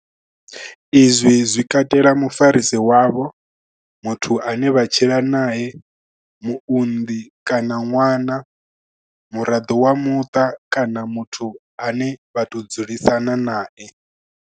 Izwi zwi katela mufarisi wavho, muthu ane vha tshila nae, muunḓi kana ṅwana, muraḓo wa muṱa kana muthu ane vha tou dzulisana nae.